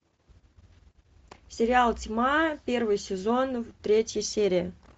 сериал тьма первый сезон третья серия